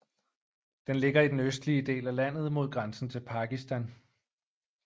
Den ligger i den østlige del af landet mod grænsen til Pakistan